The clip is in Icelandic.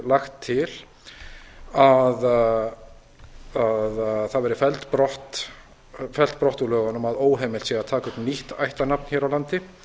lagt til að það verði fellt brott úr lögunum að óheimilt sé að taka upp nýtt ættarnafn hér á landi